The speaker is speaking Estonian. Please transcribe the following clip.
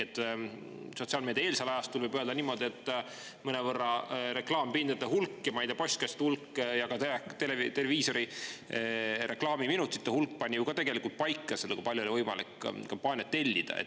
Sotsiaalmeediaeelsel ajastul, võib öelda niimoodi, pani reklaampindade hulk ja, ma ei tea, postkastide hulk ja ka televiisori reklaamiminutite hulk ju mõnevõrra paika selle, kui palju oli võimalik kampaaniat tellida.